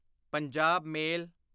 Punjab ਮੇਲ